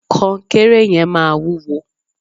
kọnkéré yẹn maa wuwo